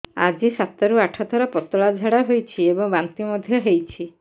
ଆଜି ସାତରୁ ଆଠ ଥର ପତଳା ଝାଡ଼ା ହୋଇଛି ଏବଂ ବାନ୍ତି ମଧ୍ୟ ହେଇଛି